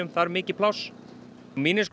þarf mikið pláss